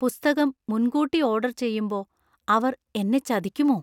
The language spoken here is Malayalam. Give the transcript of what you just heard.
പുസ്തകം മുൻകൂട്ടി ഓർഡർ ചെയ്യുമ്പോ അവർ എന്നെ ചതിക്കുമോ?